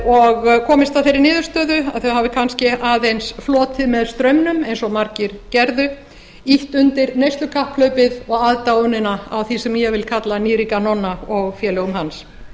og komist að þeirri niðurstöðu að þeir hafi kannski aðeins flotið með straumnum eins og margir gerðu ýtt undir neyslukapphlaupið og aðdáunina á því sem ég vil kalla nýríka nonna og félögum hans